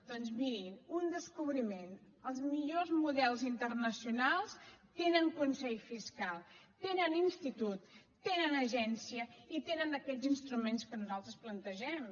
doncs mirin un descobriment els millors models internacionals tenen consell fiscal tenen institut tenen agència i tenen aquests instruments que nosaltres plantegem